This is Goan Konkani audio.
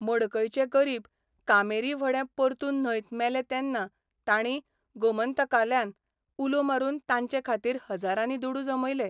मडकयचे गरीब कामेरी व्हडें परतून न्हंयत मेले तेन्ना तांणी गोमंतकाल्यान उलो मारून तांचे खातीर हजारांनी दुडू जमयले.